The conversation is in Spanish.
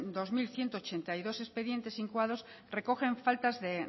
dos mil ciento ochenta y dos expedientes incoados recogen faltas de